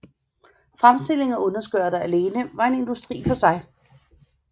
Fremstilling af underskørter alene var en industri for sig